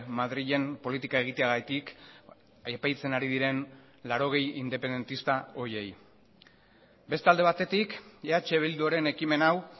madrilen politika egiteagatik epaitzen ari diren laurogei independentista horiei beste alde batetik eh bilduren ekimen hau